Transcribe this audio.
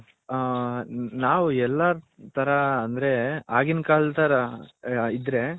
ಹ ನಾವು ಎಲ್ಲಾ ತರ ಅಂದ್ರೆ ಆಗಿನ್ ಕಾಲದ ತರ ಇದ್ರೆ.